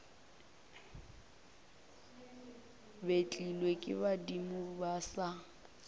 betlilwe ke badimo ba sa